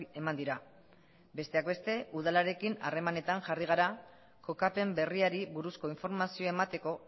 eman dira besteak beste udalarekin harremanetan jarri gara kokapen berriari buruzko informazioa emateko